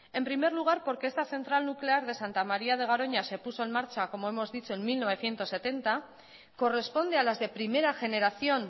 en primer lugar porque esta central nuclear de santa maría de garoña se puso en marcha como hemos dicho en mil novecientos setenta corresponde a las de primera generación